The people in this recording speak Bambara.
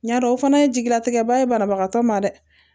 Ɲa dɔ o fana ye jigilatigɛ ba ye banabagatɔ ma dɛ